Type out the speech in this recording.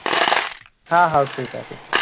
हा हाव ठीक आहे, ठीक आहे.